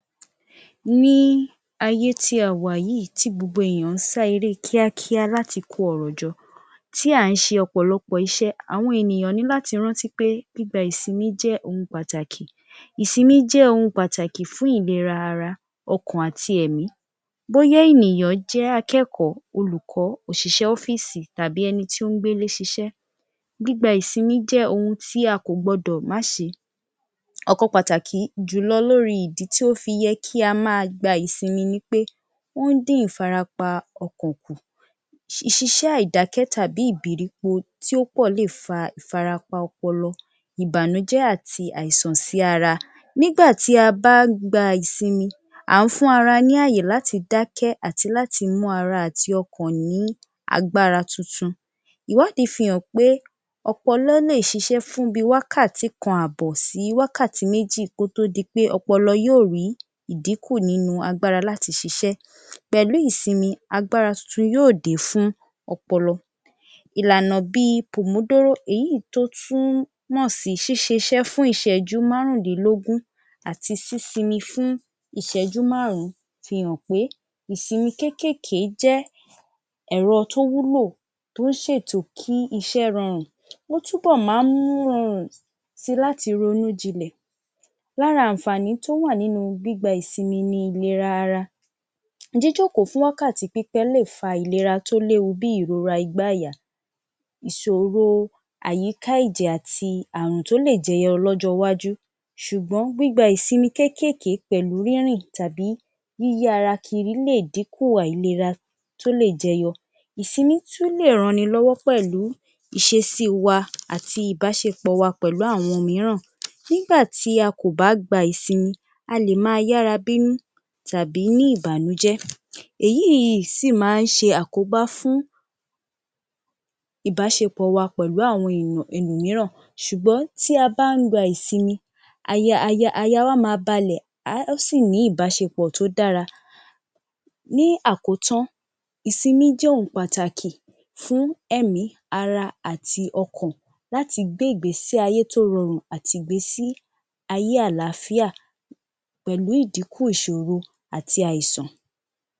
Ní ayé tí a wà yìí tí gbogbo ènìyàn ń sá eré kíákíá láti kó ọrọ̀ jọ, tí à ń ṣe ọ̀pọ̀lọpọ̀ iṣẹ́, àwọn ènìyàn ní láti rántí pé gbígba ìsinmi jẹ́ ohun pàtàkì. Ìsinmi jẹ́ ohun pàtàkì fún ìlera ara, ọkàn àti ẹ̀mí, bóyá ènìyàn jẹ́ akẹ́kọ̀ọ́, olùkọ́, òṣìṣẹ́ ọ́fíìsì tàbí tí ó ń gbélé ṣiṣẹ́, gigba ìsinmi jẹ́ ohun tí a kò gbọdọ̀ má ṣe. Ọ̀kan pàtàkì jùlọ lórí ìdí tí ó fi yẹ kí á máa gba ìsinmi ni wí pé ó ń dí ìfarapa ọkàn kù. Ṣiṣẹ́ àìdákẹ́ tàbí ìbìrípo tó pọ̀ le fa ìfarapa ọpọlọ, ìbànújẹ́ àti àìsàn sí ara. Nígbà tí a bá ń gba ìsinmi à ń fún ara ní ààyè láti dákẹ́ àti láti mú ara àti ọkàn ní agbára tuntun. Iwádìí fi hàn pé ọpọlọ lè ṣiṣẹ́ fún bí i wákàtí kan àbọ̀ sí wákàtí méjì kó tó di pé ọpọlọ yóò rí ìdínkù nínú agbára láti ṣiṣẹ́. Pẹ̀lú ìsinmi agbára tuntun yóò dé fún ọpọlọ. Ìlànà bí i... èyí ì tó tún mọ̀ sí ṣíṣe iṣẹ́ fún ìṣẹ́jú bí márùn-úndínlógún àti sísinmi fún ìṣẹ́jú márùn-ún fi hàn pé ìsinmi kéékèèké jẹ́ ẹ̀rọ tó wúlò, tó ń ṣètò kí iṣẹ́ rọrùn, ó túbọ̀ máa ń rọrùn si láti ronú jinlẹ̀. Lára àǹfààní tó wà nínú gbígba ìsinmi ìlera ara; Jíjòkó fún wákàtí pípẹ́ lè fa ìrora tó léwu bí i ìlera igbá-àyà, ìsòro àyíká ẹ̀jẹ̀ àti àrùn tó lè jẹyọ lọ́jọ́ iwájú, ṣùgbọ́n gbígba ìsinmi kéékèèké pẹ̀lú rínrìn tàbí yíyí ara kiri lè dínkù àìlera tí ó lè jẹyọ. Ìsinmi tún lè rannilọ́wọ́ pẹ̀lú ìṣesí wa àti ìbáṣepọ̀ wa pẹ̀lú àwọn ẹlòmíràn. Nígbà tí a kò bá gba ìsinmi a lè máa yára bínú tàbí ní ìbànújẹ́. Èyí sì máa ń ṣe àkóbá fún ìbáṣepọ̀ wa pẹ̀lú àwọn ẹlòmíràn ṣùgbọ́n tí a bá ń gba ìsinmi aya wa máa balẹ̀, a óò sì ní ìbáṣepọ̀ tó dára. Ní àkotán, ìsinmi jẹ́ ohun pàtàkì fún ẹ̀mí, ara, àti ọkàn láti gbé ìgbésí-ayé tó rọrùn àti ìgbésí-ayé àlááfíà pẹ̀lú ìdínkù ìṣòro àti àìsàn.